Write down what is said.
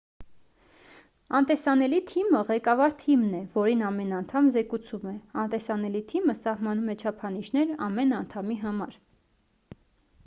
անտեսանելի թիմը ղեկավար թիմն է որին ամեն անդամ զեկուցում է անտեսանելի թիմը սահմանում է չափանիշներ ամեն անդամի համար